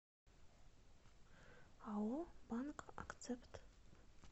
ао банк акцепт